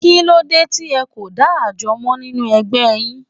Kí ló dé tí ẹ kò dá àjọ mọ́ nínú ẹgbẹ́ yín?